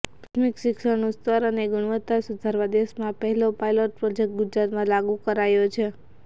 પ્રાથમિક શિક્ષણનું સ્તર અને ગુણવત્તા સુધારવા દેશમાં પહેલો પાયલોટ પ્રોજેકટ ગુજરાતમાં લાગુ કરાયો છે